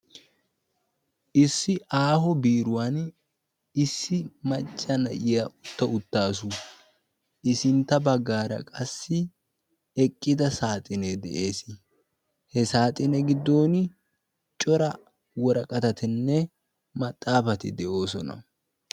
Issi aaho biiruwaani issi macca na'iya utta uttaasu. I sintta baggaara qassi eqqida saaxinee de"ees. He saaxine giddooni cora woraqatatinne maxaafati de"oosona.